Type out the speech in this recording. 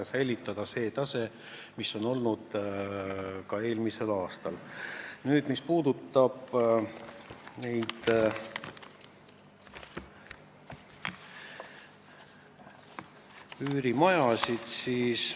Eesmärk jõuda 1%-ni SKT-st juba järgmiseks aastaks on muide kirjas kevadel valitsuses heaks kiidetud riigi eelarvestrateegias.